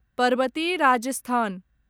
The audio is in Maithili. परबति राजस्थान